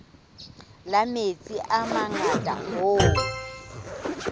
la metsi a mangata hoo